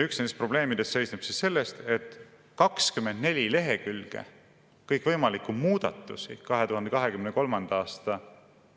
Üks nendest probleemidest seisneb selles, et 24 lehekülge kõikvõimalikke muudatusi 2023. aasta